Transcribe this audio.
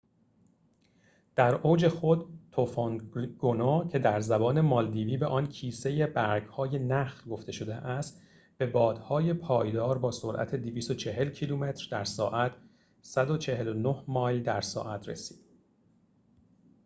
در اوج خود، توفند گونو، که در زبان مالدیوی به آن کیسه برگ‌های نخل گفته شده است، به بادهای پایدار با سرعت 240 کیلومتر در ساعت 149 مایل در ساعت رسید